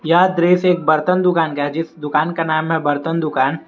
यह दृश्य एक बर्तन दुकान है जिस दुकान का नाम है बर्तन दुकान।